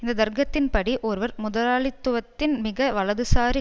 இந்த தர்க்கத்தின்படி ஒருவர் முதலாளித்துவத்தின் மிக வலதுசாரி